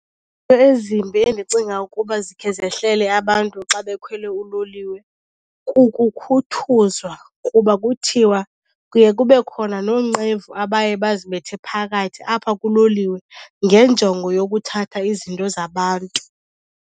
Ezimbi endicinga ukuba zikhe zehlele abantu xa bekhwele uloliwe kukukhuthuzwa, kuba kuthiwa kuye kube khona noonqevu abaye bazibethe phakathi apha kuloliwe ngenjongo yokuthatha izinto zabantu.